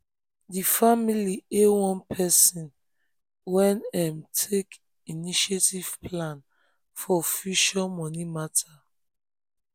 di family hail one person um wey um take initiative plan um for future money matter.